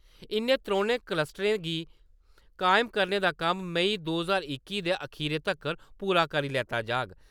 इ`नें त्रौनें कस्टरें गी कायम करने दा कम्म मई दो ज्हार इक्की दे खीरै तगर पूरा करी लैता जाग।